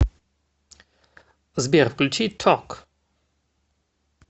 сбер включи ток